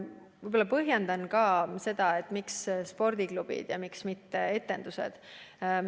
Ma põhjendan ka seda, miks on keelatud tegevus spordiklubides ja miks mitte etendused.